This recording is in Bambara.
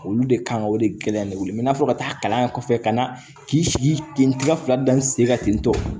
Olu de kan ka o de gɛlɛya de wele n'a fɔ ka taa kalan yen kɔfɛ ka na k'i sigi ten n t'i ka fila fila da n sen kan ten tɔ